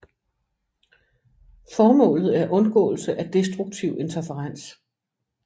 Formålet er undgåelse af destruktiv interferens